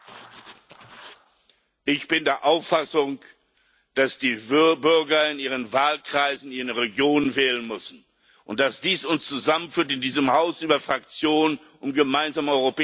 Ich bin der Auffassung, dass die Bürger in ihren Wahlkreisen, in ihren Regionen wählen müssen und dass uns dies zusammenführt in diesem Haus, in der Fraktion, um gemeinsame europäische Interessen wahrzunehmen.